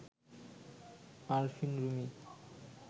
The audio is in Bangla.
আরফিন রুমি